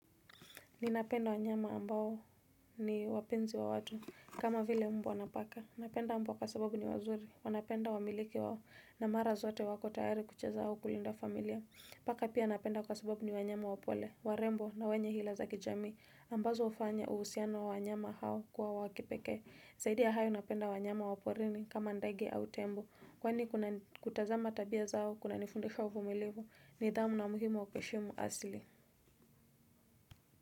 Ninapenda wanyama ambao ni wapenzi wa watu, kama vile mbwa na paka. Napenda mbwa kwa sababu ni wazuri, wanapenda wamiliki wao na mara zote wako tayari kucheza au kulinda familia. Paka pia napenda kwa sababu ni wanyama wapole, warembo na wenye hila za kijamii, ambazo ufanya uhusiano wa wanyama hao kuwa wa kipekee. Zaidia hayo napenda wanyama waporini kama ndege au tembo, kwani kutazama tabia zao kuna nifundisha uvumilivu nidhamu na umuhimu wa kuheshimu asili.